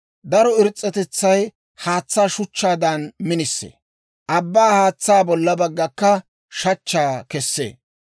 Daro iris's'atetsay haatsaa shuchchaadan minisee; abbaa haatsaw bolla baggaakka shachchaa kessee.